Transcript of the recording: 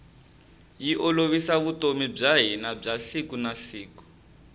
yi olovisa vutomi bya hina bya siku na siku